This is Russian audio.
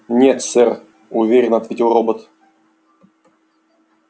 нет сэр уверенно ответил робот